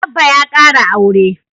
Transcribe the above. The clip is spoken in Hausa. Abba ya kara aure